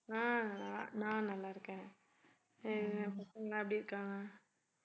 ஆஹ் நான் நல்லா இருக்கேன் சரி பசங்க எல்லாம் எப்படி இருக்காங்க